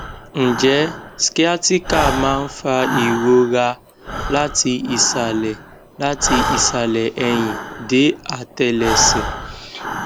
nje sciatica ma n fa irora lati isale lati isale ehin de atelese